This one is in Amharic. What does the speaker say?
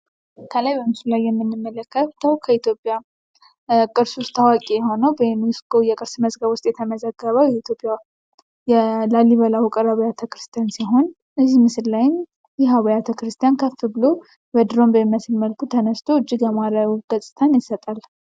ከላይ በምስሉ ላይ የምንመለከተዉ ከኢትዮጵያ ቅርሶች ታዋቂ የሆነዉ በዩኔስኮ የቅርስ መዝገብ ዉስጥ የተመዘገበዉ የኢትዮጵያ የላሊበላ ዉቅር አብያተ ክርስቲያን ሲሆን እዚህ ምስል ላይም ይህ አብያተ ክርስቲያን በድሮን በሚመስል ከፍ ብሎ ተነስት እጅግ ያማረ ገፅታን ይሰጣል።